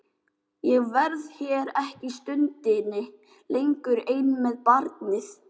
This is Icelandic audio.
Ég verð hér ekki stundinni lengur ein með barnið.